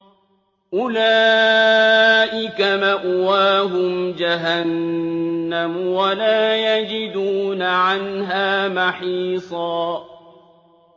أُولَٰئِكَ مَأْوَاهُمْ جَهَنَّمُ وَلَا يَجِدُونَ عَنْهَا مَحِيصًا